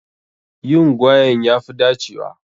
Yin gwaen ya fi dacewa.